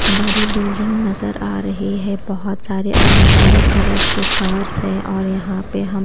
बड़ी बिल्डिंग नजर आ रही है बहोत सारे अलग अलग कलर्स के कार्स हैं और यहां पे हम--